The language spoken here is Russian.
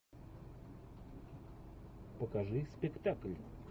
покажи спектакль